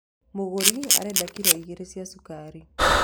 Mũgũri arenda kiro igĩrĩ cia cukari